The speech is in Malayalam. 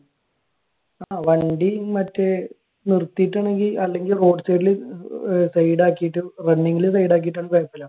ആഹ് വണ്ടി മറ്റേ നിർത്തിയിട്ടാണെങ്കിൽ അല്ലെങ്കിൽ road side ൽ ആക്കിയിട്ട് running ൽ side ഇട്ടാൽ കൊഴപ്പോല.